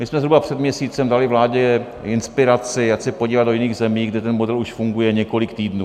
My jsme zhruba před měsícem dali vládě inspiraci, ať se podívají do jiných zemí, kde ten model už funguje několik týdnů.